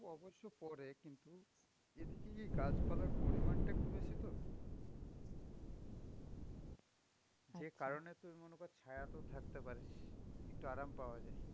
অবশ্য পরে. কিন্তু এইদিকে কি, গাছপালার পরিমাণটা একটু বেশি তো. যে কারণে তুই মনে কর ছায়াতেও থাকতে পারিস. একটু আরাম পাওয়া যায়.